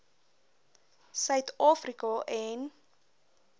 suid afrika en